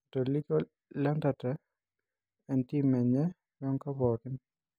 Atolikio Lentante oentim enye woenkop pookini.